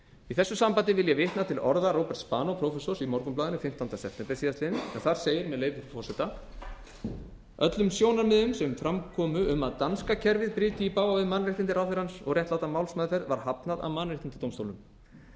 í þessu sambandi vil ég vitna til orða róberts spanós prófessors í morgunblaðinu fimmtánda september síðastliðinn en þar segir með leyfi frú forseta öllum sjónarmiðum sem fram komu um að danska kerfið bryti í bága við mannréttindi ráðherrans og réttláta málsmeðferð var hafnað af mannréttindadómstólnum segir hann